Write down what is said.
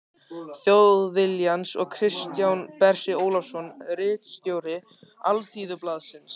Þjóðviljans og Kristján Bersi Ólafsson ritstjóri Alþýðublaðsins.